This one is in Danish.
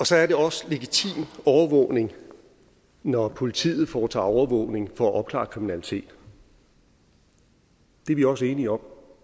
så er det også legitim overvågning når politiet foretager overvågning for at opklare kriminalitet det er vi også enige om